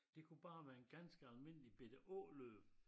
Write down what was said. Det kunne bare være en ganske almindelig bette åløb